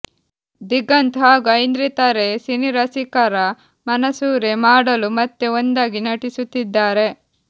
ದಿಗಂತ್ ಹಾಗೂ ಐಂದ್ರಿತಾ ರೇ ಸಿನಿರಸಿಕರ ಮನಸೂರೆ ಮಾಡಲು ಮತ್ತೆ ಒಂದಾಗಿ ನಟಿಸುತ್ತಿದ್ದಾರೆ